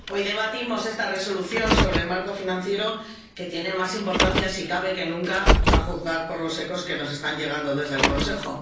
Hoy debatimos esta Resolución sobre el marco financiero, que tiene más importancia si cabe que nunca, a juzgar por los ecos que nos están llegando desde el Consejo.